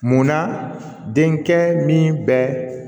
Munna denkɛ min bɛ